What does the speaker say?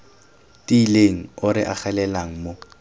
tiileng o re agelelang mo